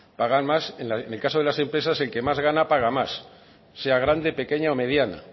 pagan más en el caso de las empresas el que más gana paga más sea grande pequeña o mediana